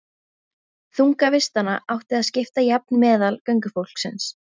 Þunga vistanna átti að skipta jafnt meðal göngufólksins.